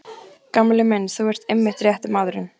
Gamli minn, þú ert einmitt rétti maðurinn.